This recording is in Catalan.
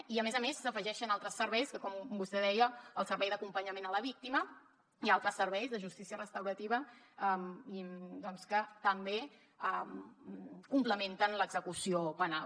i a més a més s’afegeixen altres serveis que com vostè deia el servei d’acompanyament a la víctima i altres serveis de justícia restaurativa que també complementen l’execució penal